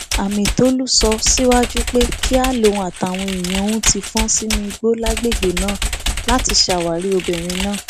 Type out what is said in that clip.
amitólú sọ síwájú pé kíá lòun àtàwọn èèyàn òun ti fọn sínú igbó lágbègbè náà láti ṣàwárí obìnrin náà